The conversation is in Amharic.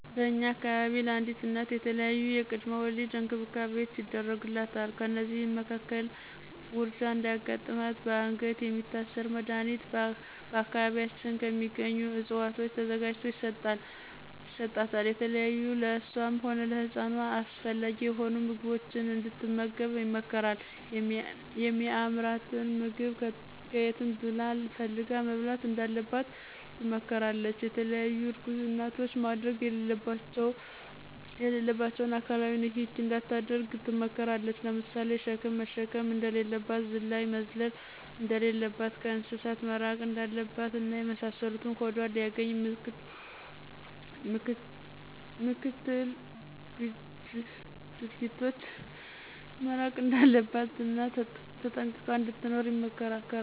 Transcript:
በእኛ አካባቢ ለአዲስ እናት የተለያዪ የቅድመ ወሊድ እንክብካቤዎች ይደረጉላታል። ከእነዚህም መካከል ውርጃ እንዳያጋጥማትበአንገት የሚታሰር መድኀኒት በአካባቢያችን ከሚገኙ እፅዋቶች ተዘጋጅቶ ይሰጣታል፣ የተለያዩ ለእሷም ሆነ ለፅንሱ አስፈላጊ የሆኑ ምግቦችን እንድትመገብ ይመከራል የሚአምራትንም ምግብ ከየትም ብላ ፈልጋ መብላት እንዳለባት ትመከራለች፣ የተለያዪ እርጉዝ እናቶች ማድረግ የሌለባቸውን አካላዊ ንክኪ እንዳታደርግ ትመከራለች ለምሳሌ ሸክም መሸከም እንደሌለባት፣ ዝላይ መዝለል እንደለለባት፣ ከእንስሳት መራቅ እንዳለባት እና የመሳሰሉትን ሆዷን ሊአገኙ ምክትል ግጅ ድርጊቶች መራቅ እንዳለባት እና ተጠንቅቃ እንድትኖር ትመከራለች።